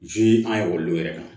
an ye ekɔlidenw yɛrɛ kan